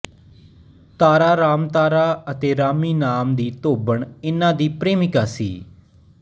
ਤਾਰਾ ਰਾਮਤਾਰਾ ਅਤੇ ਰਾਮੀ ਨਾਮ ਦੀ ਧੋਬਣ ਇਨ੍ਹਾਂ ਦੀ ਪ੍ਰੇਮਿਕਾ ਸੀ